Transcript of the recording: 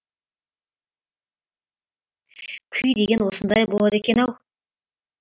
күй деген осындай болады екен ау